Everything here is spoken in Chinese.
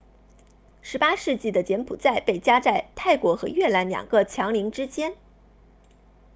18世纪的柬埔寨被夹在泰国和越南两个强邻之间